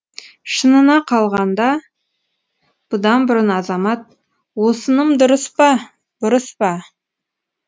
шынына қалғанда бұдан бұрын азамат осыным дұрыс па бұрыс па